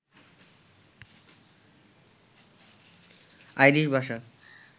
Irish ভাষা